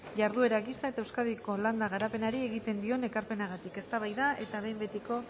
jarduera gisa eta euskadiko landa garapenari egiten dion ekarpenagatik eztabaida eta behin betiko